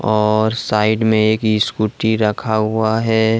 और साइड में एक स्कूटी रखा हुआ है।